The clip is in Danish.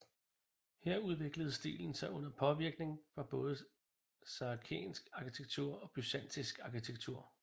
Her udviklede stilen sig under påvirkning fra både saracensk arkitektur og byzantinsk arkitektur